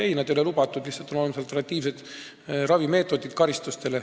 Ei, nad ei ole lubatud, lihtsalt karistuste kõrval on olemas alternatiivsed meetodid, ravimeetodid.